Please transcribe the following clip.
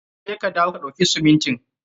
Je ka dawo ka ɗauki simintin.